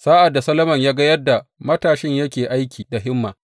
Sa’ad da Solomon ya ga yadda matashin yake aiki da himma,